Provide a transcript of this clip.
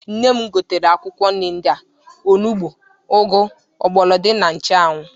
Nne m gotere akwụkwọ nri ndị a: onugbu, ụgwụ, mgbọlọdọị, na nchụanwụ.